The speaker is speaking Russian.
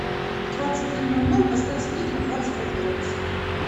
в двадцать три ноль ноль поставь сплит на двадцать пять градусов